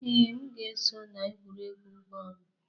Ee, m ga-eso na egwuregwu bọọlụ.